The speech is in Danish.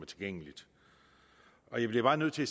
tilgængeligt jeg bliver bare nødt til at